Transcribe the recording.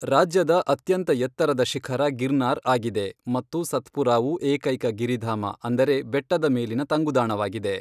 ರಾಜ್ಯದ ಅತ್ಯಂತ ಎತ್ತರದ ಶಿಖರ ಗಿರ್ನಾರ್ ಆಗಿದೆ ಮತ್ತು ಸತ್ಪುರಾವು ಏಕೈಕ ಗಿರಿಧಾಮ, ಅಂದರೆ ಬೆಟ್ಟದ ಮೇಲಿನ ತಂಗುದಾಣವಾಗಿದೆ.